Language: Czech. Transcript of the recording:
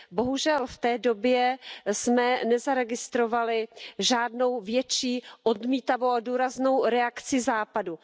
Bohužel, v té době jsme nezaregistrovali žádnou větší odmítavou a důraznou reakci Západu.